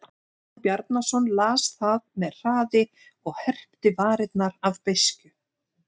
Jón Bjarnason las það með hraði og herpti varirnar af beiskju.